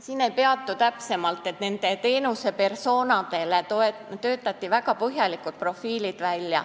Sellel ma praegu täpsemalt ei peatu, aga kõigile neile teenuse persona'dele töötati välja väga põhjalikud profiilid.